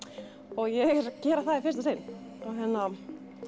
og ég er að gera það í fyrsta sinn og hérna